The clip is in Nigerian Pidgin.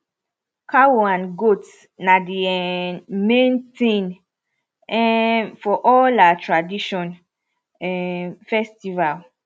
cow and goat na the um main thing um for all our tradition um festival